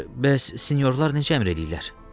Yaxşı, bəs sinyorlar necə əmr eləyirlər?